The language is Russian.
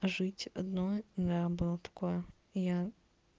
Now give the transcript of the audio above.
жить одной да было такое я